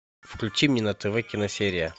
включи мне на тв киносерия